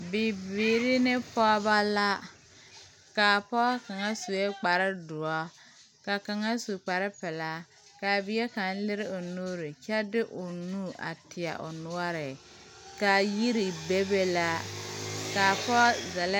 Bibiiri ne pɔgeba la , kaa pɔge kaŋ su kpare doɔre ka kaŋ su kpar pelaa. kaa bie kaŋ leri o nuuri kyɛ de o nu a teɛ o noɔre ka yiri bebe.